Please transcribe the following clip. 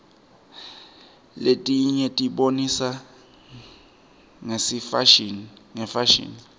letinyetibonisa ngefasihni